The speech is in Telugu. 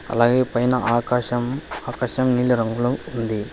అలాగే పైన ఆకాశం ఆకాశం నీల రంగులో ఉంది.